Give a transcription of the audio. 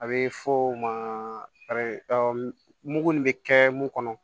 A bɛ fɔ o ma mugu in bɛ kɛ mun kɔnɔ